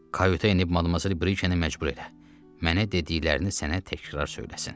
Kayutə enib madmazel Brikeni məcbur elə, mənə dediklərini sənə təkrar söyləsin.